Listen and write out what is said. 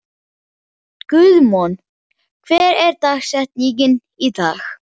Guðmon, hver er dagsetningin í dag?